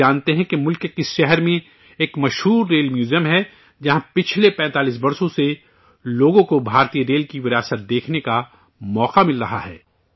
کیا آپ جانتے ہیں کہ ملک کے کس شہر میں ایک مشہور ریل میوزیم ہے، جہاں پچھلے 45 برسوں سے لوگوں کو ہندوستانی ریل کی وراثت دیکھنے کا موقع مل رہا ہے